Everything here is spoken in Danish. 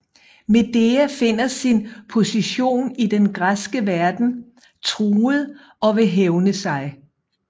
Medea finder sin position i den græske verden truet og vil hævne sig